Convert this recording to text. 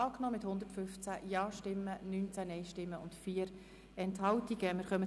Sie haben die Ziffer 5 als Postulat mit 115 Ja-, 19 Nein-Stimmen und 4 Enthaltungen angenommen.